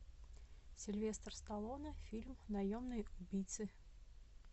сильвестр сталлоне фильм наемные убийцы